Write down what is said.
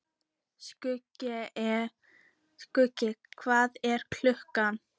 Skuggi, hvað er klukkan?